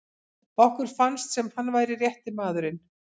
Okkur fannst sem hann væri rétti maðurinn.